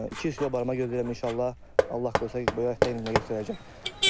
200 kilo barama gözləyirəm, inşallah Allah qoysa, bu il də göstərəcək.